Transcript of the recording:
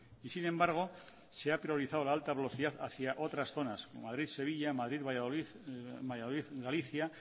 sin embargo se ha priorizado la alta velocidad hacia otras zonas madrid sevilla madrid valladolid valladolid galicia